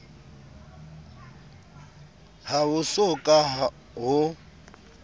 ha ho so ka ho